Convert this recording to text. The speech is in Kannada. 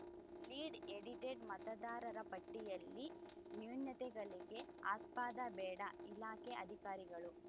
ಲೀಡ್‌ ಎಡಿಟೆಡ್‌ ಮತದಾರರ ಪಟ್ಟಿಯಲ್ಲಿ ನ್ಯೂನತೆಗಳಿಗೆ ಆಸ್ಪದ ಬೇಡ ಇಲಾಖೆ ಅಧಿಕಾರಿಗಳು